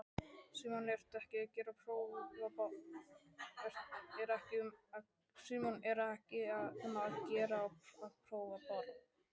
Símon: Er ekki um að gera að prófa bara?